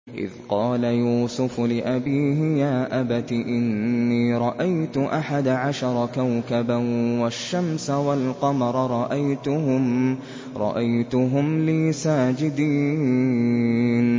إِذْ قَالَ يُوسُفُ لِأَبِيهِ يَا أَبَتِ إِنِّي رَأَيْتُ أَحَدَ عَشَرَ كَوْكَبًا وَالشَّمْسَ وَالْقَمَرَ رَأَيْتُهُمْ لِي سَاجِدِينَ